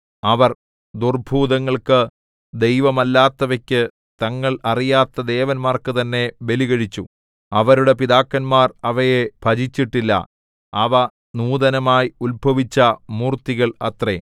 അവർ ദുർഭൂതങ്ങൾക്ക് ദൈവമല്ലാത്തവയ്ക്ക് തങ്ങൾ അറിയാത്ത ദേവന്മാർക്കു തന്നെ ബലികഴിച്ചു അവരുടെ പിതാക്കന്മാർ അവയെ ഭജിച്ചിട്ടില്ല അവ നൂതനമായി ഉത്ഭവിച്ച മൂർത്തികൾ അത്രേ